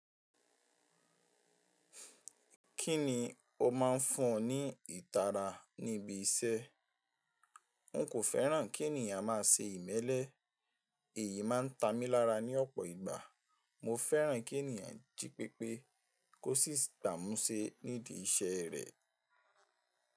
Kí ni o máa ń fún ọ ní ìtara níbi iṣẹ́? N kò fẹ́ràn kí ènìyàn má a ṣe ìmẹ́lẹ́, èyí má a ń ta mi lára ní ọ̀pọ̀ ìgbà. Mo fẹ́ràn kí ènìyàn jí pépé kó sì dà mú ṣe nídi iṣẹ́ rẹ̀.